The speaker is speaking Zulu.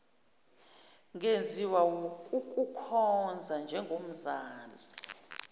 ngenziwa wukukukhonza njengomzala